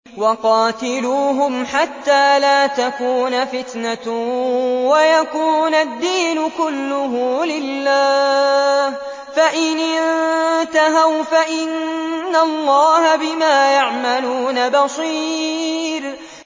وَقَاتِلُوهُمْ حَتَّىٰ لَا تَكُونَ فِتْنَةٌ وَيَكُونَ الدِّينُ كُلُّهُ لِلَّهِ ۚ فَإِنِ انتَهَوْا فَإِنَّ اللَّهَ بِمَا يَعْمَلُونَ بَصِيرٌ